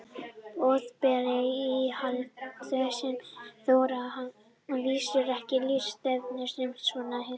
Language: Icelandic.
Boðberar íhaldsins þora að vísu ekki að lýsa stefnu sinni svona hispurslaust nú.